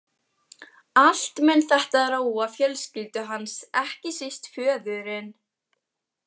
Allt mun þetta róa fjölskyldu hans, ekki síst föðurinn.